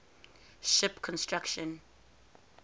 ship construction